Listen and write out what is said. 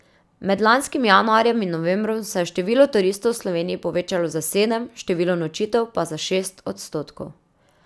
Med lanskim januarjem in novembrom se je število turistov v Sloveniji povečalo za sedem, število nočitev pa za šest odstotkov.